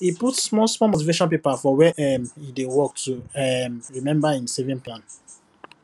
he put small small motivation paper for where um he dey work to um remember him saving plan